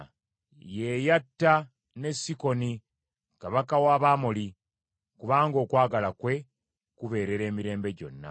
Ye yatta ne Sikoni, kabaka w’Abamoli, kubanga okwagala kwe kubeerera emirembe gyonna.